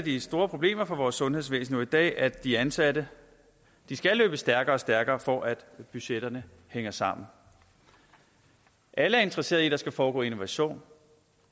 af de store problemer for vores sundhedsvæsen i dag at de ansatte skal løbe stærkere og stærkere for at budgetterne hænger sammen alle er interesserede i at der skal foregå innovation